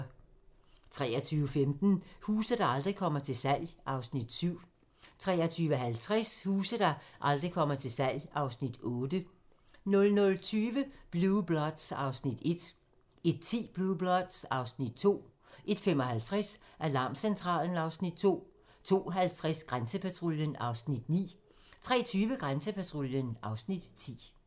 23:15: Huse, der aldrig kommer til salg (Afs. 7) 23:50: Huse, der aldrig kommer til salg (Afs. 8) 00:20: Blue Bloods (Afs. 1) 01:10: Blue Bloods (Afs. 2) 01:55: Alarmcentralen (Afs. 2) 02:50: Grænsepatruljen (Afs. 9) 03:20: Grænsepatruljen (Afs. 10)